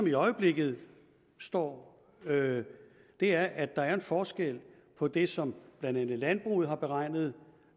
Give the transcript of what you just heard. i øjeblikket står er at der at der er en forskel på det som blandt andet landbruget har beregnet